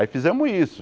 Aí fizemos isso.